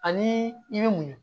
Ani i bɛ muɲu